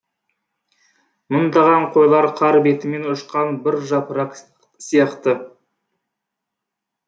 мыңдаған қойлар қар бетімен ұшқан бір жапырақ сияқты